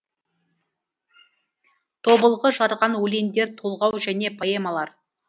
тобылғы жарған өлеңдер толғау және поэмалар